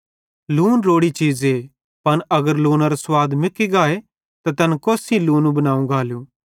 लून रोड़ी चीज़े पन अगर लूनेरो लूनार मुकी गाए त तैन कोस सेइं लूने बनाव गालू